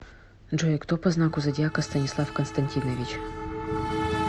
джой кто по знаку зодиака станислав константинович